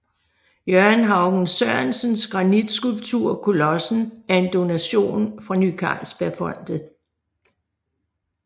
Jørgen Haugen Sørensens granitskulptur Kolossen er en donation fra Ny Carlsbergfondet